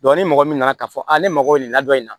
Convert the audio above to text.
ni mɔgɔ min nana k'a fɔ ne mago bɛ nin la dɔ in na